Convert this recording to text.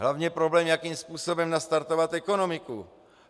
Hlavně problém, jakým způsobem nastartovat ekonomiku.